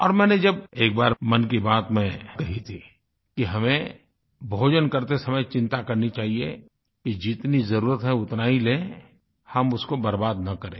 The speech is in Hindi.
और मैंने जब एक बार मन की बात में कही थी कि हमें भोजन करते समय चिंता करनी चाहिये कि जितनी ज़रूरत है उतना ही लें हम उसको बर्बाद न करें